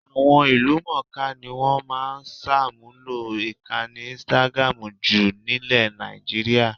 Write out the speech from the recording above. Àwọn ìlúmọ̀ńká ni wọ́n máa ń ṣàmúlò ìkànnì instagram jù nílẹ̀ Nàìjííríà